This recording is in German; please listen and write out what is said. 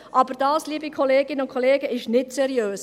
Aber dies, liebe Kolleginnen und Kollegen, ist nicht seriös.